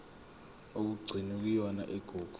okugcinwe kuyona igugu